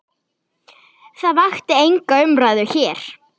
Það vakti enga umræðu hér.